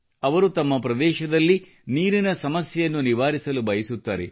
ಅವರು ತಮ್ಮ ಪ್ರದೇಶದಲ್ಲಿ ನೀರಿನ ಸಮಸ್ಯೆಯನ್ನು ನಿವಾರಿಸಲು ಬಯಸುತ್ತಾರೆ